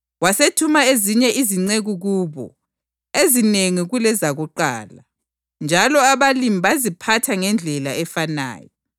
Wasethuma ezinye izinceku kubo, ezinengi kulezakuqala, njalo abalimi baziphatha ngendlela efanayo.